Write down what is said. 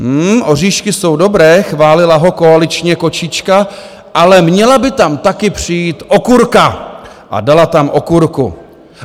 Hm, oříšky jsou dobré, chválila ho koaličně kočička, ale měla by tam taky přijít okurka a dala tam okurku.